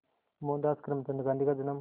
मोहनदास करमचंद गांधी का जन्म